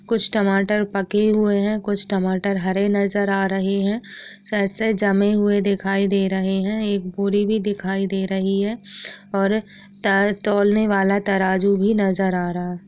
कुछ टमाटर पके हुए हैं। कुछ टमाटर हरे नजर आ रहे हैं। साथ-साथ जमे हुए दिखाई दे रहे हैं। एक बोरी भी दिखाई दे रही है और त-तोलने वाला तराजू भी नजर आ रहा है।